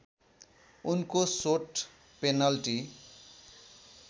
उनको shot penalty